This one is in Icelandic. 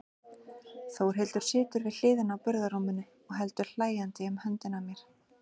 Þórhildur situr við hliðina á burðarrúminu og heldur hlæjandi um höndina á mér.